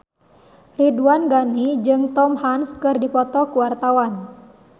Ridwan Ghani jeung Tom Hanks keur dipoto ku wartawan